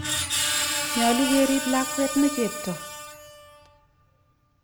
Nyalu kerip lakwet ne chepto.